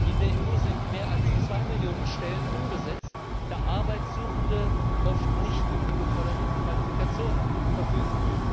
In der EU sind mehr als zwei Millionen Stellen unbesetzt, da Arbeitssuchende oft nicht über die geforderten Qualifikationen verfügen.